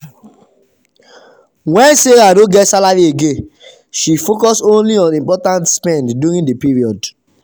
when sarah no get salary again she focus only on important spend during the period.